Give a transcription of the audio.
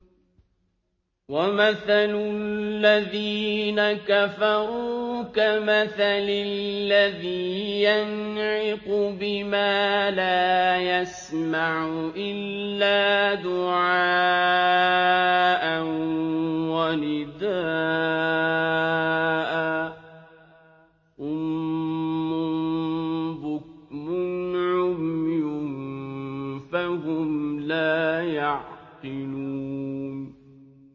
وَمَثَلُ الَّذِينَ كَفَرُوا كَمَثَلِ الَّذِي يَنْعِقُ بِمَا لَا يَسْمَعُ إِلَّا دُعَاءً وَنِدَاءً ۚ صُمٌّ بُكْمٌ عُمْيٌ فَهُمْ لَا يَعْقِلُونَ